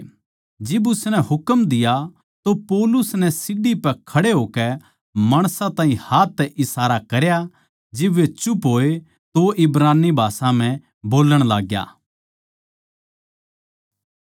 जिब उसनै हुकम दिया तो पौलुस नै सीढ़ी पै खड़े होकै माणसां ताहीं हाथ तै इशारा करया जिब वे चुप होए तो वो इब्रानी भाषा म्ह बोल्लण लाग्या